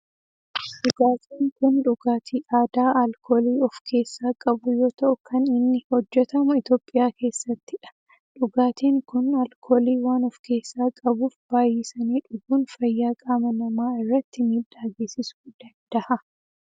Dhugaatin kun dhugaatii aadaa alkoolii of keessaa qabu yoo ta'u kan inni hojjetamu Itiyoophiyaa keessattidha. Dhugaatin kun alkoolii waan of keessaa qabuf baayyisanii dhuguun fayyaa qaama namaa irratti miidhaa geessisuu danda'a.